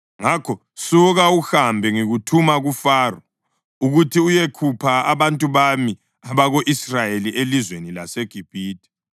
Ngakho suka uhambe. Ngikuthuma kuFaro ukuthi uyekhupha abantu bami abako-Israyeli elizweni laseGibhithe.”